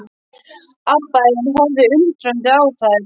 Abba hin horfði undrandi á þær.